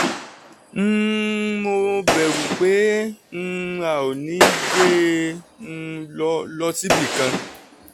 um mo bẹ̀rù pé um a ò ní gbé e um lọ lọ síbi kan